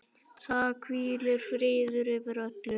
Það hvílir friður yfir öllu.